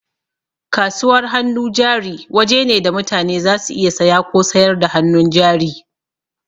Kasuwar hannu jari waje ne da mutane za su iya saya ko sayar da hannun jari